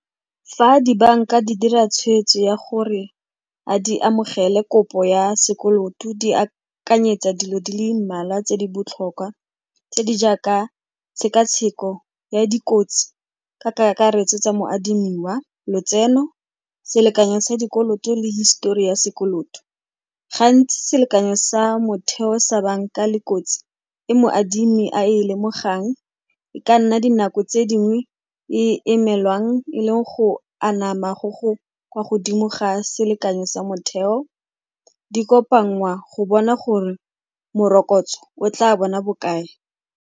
Fa dibanka di dira tshweetso ya gore a di amogele kopo ya sekoloto, di akanyetsa dilo di le mmalwa tse di botlhokwa tse di jaaka tshekatsheko ya dikotsi ka kakaretso tsa moadimiwa, lotseno, selekanyo sa dikoloto le histori ya sekoloto. Gantsi selekanyo sa motheo sa banka le kotsi e moadimi a e lemogang e ka nna dinako tse dingwe e emelwang e leng go anama go go kwa godimo ga selekanyo sa motheo, di kopanngwa go bona gore morokotso o tla bona bokae.